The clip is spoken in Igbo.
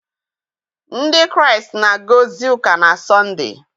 Ndị Kraịst na-aga ozi ụka na Sọnde.